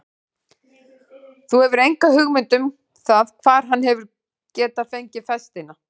Þú hefur enga hugmynd um það hvar hann hefur getað fengið festina?